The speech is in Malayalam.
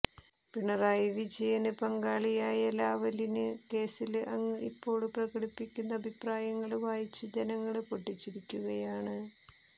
പിണറായി വിജയന് പങ്കാളിയായ ലാവലിന് കേസില് അങ്ങ് ഇപ്പോള് പ്രകടിപ്പിക്കുന്ന അഭിപ്രായങ്ങള് വായിച്ച് ജനങ്ങള് പൊട്ടിച്ചിരിക്കുകയാണ്